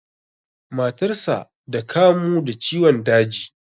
Matarsa da kamu da ciwon daji.